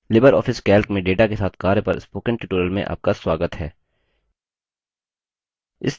Libre office calc में data के साथ कार्य पर spoken tutorial में आपका स्वागत है